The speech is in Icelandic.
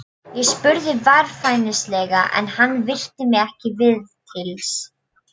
Ég spurði varfærnislega en hann virti mig ekki viðlits.